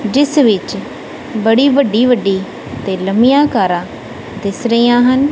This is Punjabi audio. ਜਿਸ ਵਿੱਚ ਬੜੀ ਵੱਡੀ ਵੱਡੀ ਤੇ ਲੰਮੀਆਂ ਕਾਰਾਂ ਦਿਸ ਰਹੀਆਂ ਹਨ।